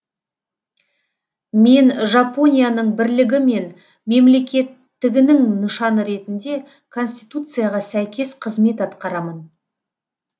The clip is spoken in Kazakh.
мен жапонияның бірлігі мен мемлекеттігінің нышаны ретінде конституцияға сәйкес қызмет атқарамын